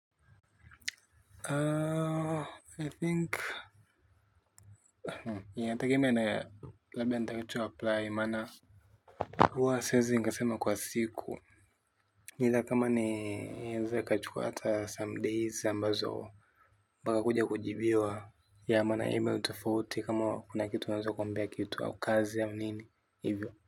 Aaa i think inategemea labda nitakacho apply maana huwa siezi nikasema kwa siku either kama ni inaeza ikachuka hata some days ambazo mbaka kuja kujibiwa ya maana email tofauti kama kuna kitu unaweza kuambia kitu au kazi au nini hivyo.